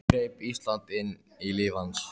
Enn greip Ísland inn í líf hans.